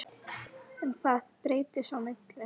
En hvað breyttist á milli?